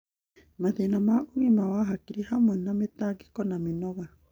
Mathĩna ma ũgima wa hakiri, hamwe na mĩtangĩko na mĩnoga.